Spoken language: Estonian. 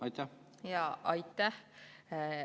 Aitäh!